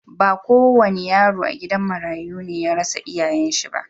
Ba ko wanda yaro a gidan marayu ne ya rasa duka iyayen shi.